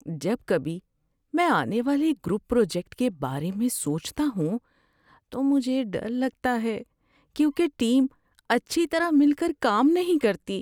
جب کبھی میں آنے والے گروپ پراجیکٹ کے بارے میں سوچتا ہوں تو مجھے ڈر لگتا ہے کیونکہ ٹیم اچھی طرح مل کر کام نہیں کرتی۔